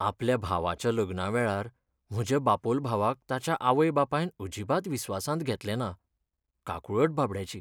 आपल्या भावाच्या लग्नावेळार म्हज्या बापोल भावाक ताच्या आवय बापायन अजिबात विस्वासांत घेतलें ना. काकूळट बाबड्याची.